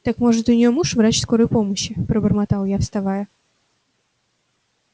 так может у неё муж врач скорой помощи пробормотал я вставая